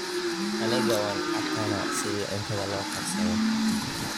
Aniga waan cakanaa sidhi cuntadha lookarsadho.